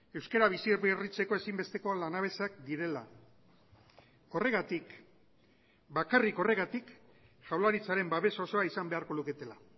euskara bizi berritzeko ezinbesteko lanabesak direla horregatik bakarrik horregatik jaurlaritzaren babes osoa izan beharko luketela